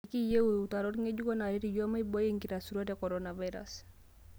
Ekiiyieu utarot ng'ejuk naaret iyiook maibooi enkitasuro e korona virus